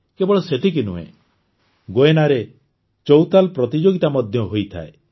କେବଳ ସେତିକି ନୁହେଁ ଗୁୟେନାରେ ଚୌତାଲ୍ ପ୍ରତିଯୋଗିତା ମଧ୍ୟ ହୋଇଥାଏ